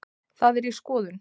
Það er í skoðun.